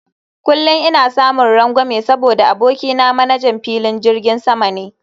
Kullum ina samun rangwame saboda abokina manajan filin jirgin sama ne